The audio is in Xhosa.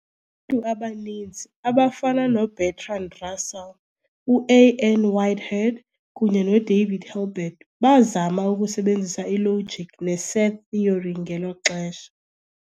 ntu abaninzi, abafana noBertrand Russell, uA. N. Whitehead, kunye noDavid Hilbert, bazama ukusebenzisa ilogic neset theory ngelo xesha.